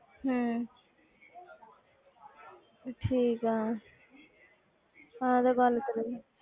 ਹਮ ਠੀਕ ਹੈ ਆਹ ਤੇ ਗੱਲ ਸਹੀ ਹੈ।